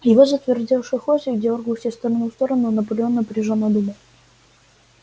его затвердевший хвостик дёргался из стороны в сторону наполеон напряжённо думал